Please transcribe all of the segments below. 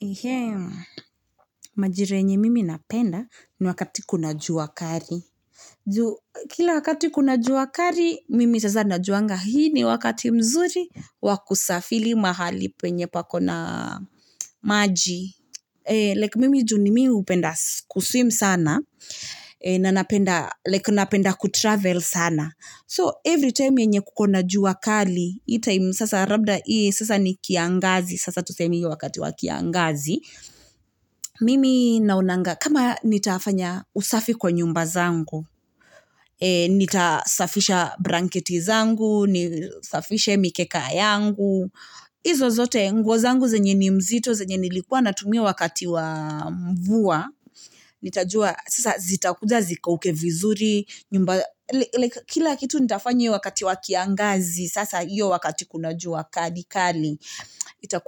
Ehem, majira yenye mimi na penda ni wakati kuna jua kali juu kila wakati kuna jua kali, mimi sasa najuanga hii ni wakati mzuri wa kusafiri mahali penye kuna maji. Eh, like mimi juu ni mimi hupenda kuswim sana, eh, na napenda, like napenda kutravel sana. So, every time yenye kuko na jua kali hii time sasa labda ii sasa ni kia ngazi, sasa tuseme wakati wakiangazi, mimi naonanga kama nitafanya usafi kwa nyumba zagu, eh, nita safisha blanketi zangu, nita safisha mikeka yangu, Izo zote, nguo zangu zenye ni mzito, zenye nilikuwa na tumia wakati wa mvua, nita jua sasa zita zikauke vizuri, nyumba, like kila kitu nita fanya wakati wa kia ngazi, sasa iyo wakati kuna jua kali kali, ita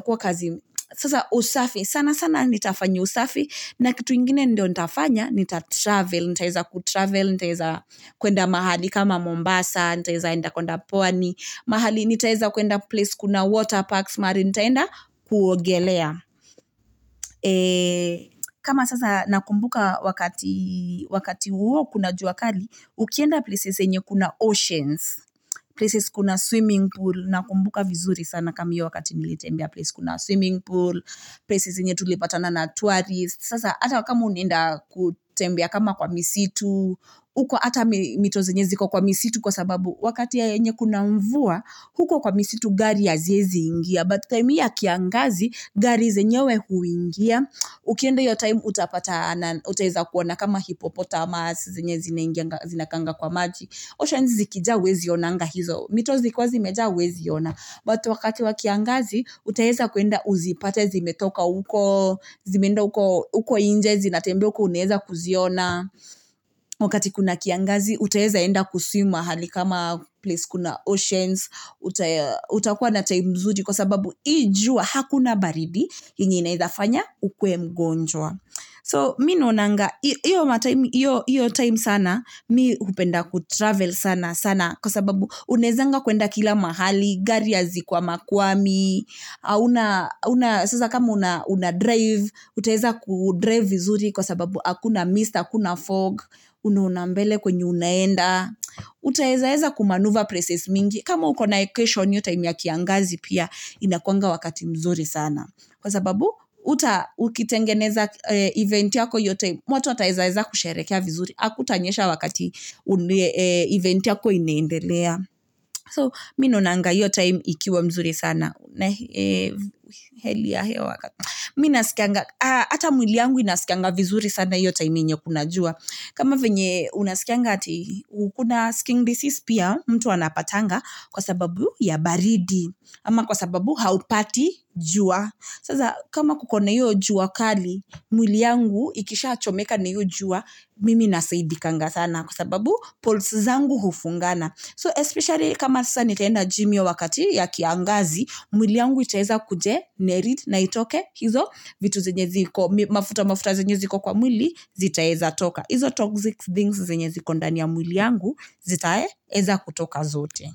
kua kazi, sasa usafi, sana sana nita fanya usafi na kitu ingine ndo nita fanya, nita travel, nita eza kutravel, nita eza kuenda mahali kama mombasa, nita eza enda kwenda pwani, mahali nita eza kuenda place kuna water parks, mahali, nita eza kuogelaya. Kama sasa nakumbuka wakati, wakati huo kuna jua kali, ukienda places enye kuna oceans, places kuna swimming pool, nakumbuka vizuri sana kama hiyo wakati nilitembea place kuna swimming pool, places enye tulipatanana tourist sasa ata kama unaenda kutembea kama kwa misitu, uko ata mito zenyue ziko kwa misitu kwa sababu wakati yenye kuna mvua, huko kwa misitu kwa gari haziwezi ingia, but time hiya kia ngazi, gari zenyewe hu ingia, ukienda iyo time uta pata, uta eza kua kuona kama hipopo, thermos, zenye zinaingianga Inakaangakanga kwa maji, oceans zee kija wazee ona hanga hizo, mito zee kwa zee maida wazee ona, but wakati wakia ngazi, uta eza kuna uzi pata ze metoka uko, ze menda uko, ukwa inje ze natembe uko, uneza kuziona, wakati kuna kia ngazi, uta weza kuswim mahali kama place kuna oceans, uta kuwa na time nzuri kwa sababu hii jua hakuna baridi yenye inawezafanya ukuwe mgonjwa. So, mimi naonanga iyo time sana, mi hupenda kutravel sana sana, kwasababu, uneza nga kuenda kila mahali, gari hazikwami kwami sasa kama una drive, uta eza kudrive vizuri kwsababu akuna mist, akuna fog, una onambele kwenye unaenda, uta eza kumanuva places mingi, kama ukona equation, iiyo time ya kia ngazi pia, ina kuwanga wakati mzuri sana, kwa sababu uta ukitenge neza eventi ako yu time, mwatoa ta eza eza kusheere kia vizuri, akuta nyesha wakati unue eventi ako inende lea. So, mimi naonanga, iyo time ikiwa mzuri sana, heli ya heo waka, mimi nasikanga, ata mwilli wangu usikianga vizuri sana iyo time kuna jua. Kama venye unasikanga ati kuna skin disease pia, mtu anapatanga kwa sababu ya baridi, ama kwa sababu haupati jua, sasa kama kuko na yu jua kali, muliangui ikisha hachomeka na yu jua, mimi nasaidikanga sana kwa sababu pols zangu hufungana. So, especially kama sasa nilienda jimi wakati ya kiangazi, muliangui ta eza kujee, nereed, na itoke hizo vitu ze nyeziko, mafuta mafuta zenye ziko kwa muli, ze ta eza toka, hizo toxic things ze nyeziko ndania muliangu, ze ta eza kutoka zote.